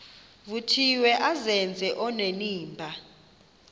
vuthiwe azenze onenimba